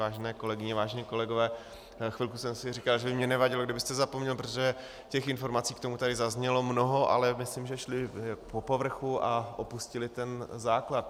Vážené kolegyně, vážení kolegové, chvilku jsem si říkal, že by mi nevadilo, kdybyste zapomněl, protože těch informací k tomu tady zaznělo mnoho, ale myslím, že šly po povrchu a opustily ten základ.